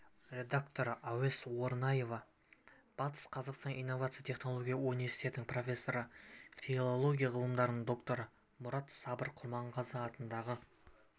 редакторы әуес орынаева батыс қазақстан инновациялық-технологиялық университетінің профессоры филология ғылымдарының докторы мұрат сабыр құрманғазы атындағы